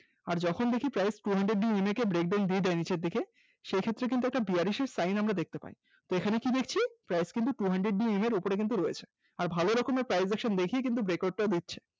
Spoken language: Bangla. আর যখন দেখি price action two hundred ema কে break down দিয়ে দেয় নিচের দিকে সেই ক্ষেত্রে কিন্তু একটা bearish এর sign আমরা দেখতে পাই এখানে কি দেখছি price কিন্তু two hundred ema এর ওপরে কিন্তু রয়েছে আর ভাল রকমের price action দেখে কিন্তু Breakout টা দিচ্ছে।